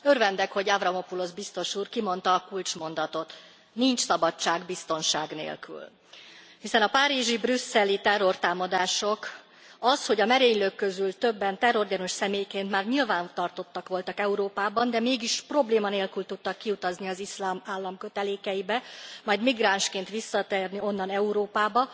Elnök Asszony, örvendek, hogy Avramopoulus biztos úr kimondta a kulcsmondatot nincs szabadság biztonság nélkül. Hiszen a párizsi, brüsszeli terrortámadások, az, hogy a merénylők közül többen terrorgyanús személyként már nyilvántartottak voltak Európában, de mégis probléma nélkül tudtak kiutazni az Iszlám Állam kötelékeibe, majd migránsként visszatérni onnan Európába,